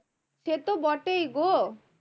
সে তো বটেই গো